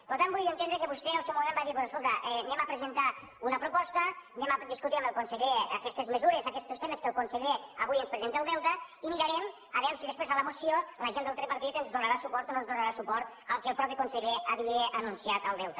per tant vull entendre que vostè al seu moment va dir doncs escolta anem a presentar una proposta anem a discutir amb el conseller aquestes mesures aquestos temes que el conseller avui ens presenta al delta i mirarem a veure si després a la moció la gent del tripartit ens donarà suport o no ens donarà suport al que el mateix conseller havia anunciat al delta